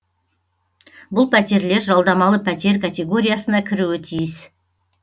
бұл пәтерлер жалдамалы пәтер категориясына кіруі тиіс